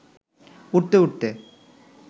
উড়তে উড়তে